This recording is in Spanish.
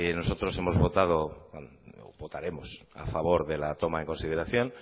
nosotros hemos votado votaremos a favor de la toma en consideración